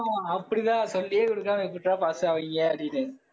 ஆஹ் அப்படிதா சொல்லியே கொடுக்காம எப்படிடா pass ஆவீங்க அப்படின்னு.